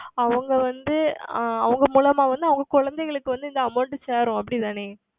அவர்கள் வந்து ஆஹ் அவர்கள் மூலமாக வந்து அவர்கள் குழந்தைகளுக்கு வந்து இந்த Amount சேரும் அப்படி தானே